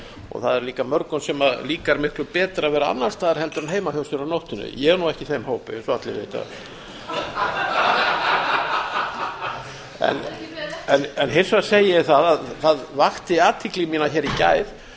og það er líka mörgum sem líkar miklu betra að vera annars staðar en heima hjá sé á nóttunni ég er nú ekki í þeim hóp eins og allir vita en hins vegar segi ég það að það vakti athygli mína hér í gær